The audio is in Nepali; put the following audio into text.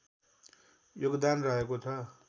योगदान रहेको छ